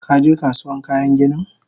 Kaje Kasuwan kayan ginin?